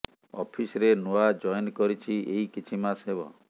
ଅଫିସରେ ନୂଆ ଜଏନ କରିଛି ଏହି କିଛି ମାସ ହେବ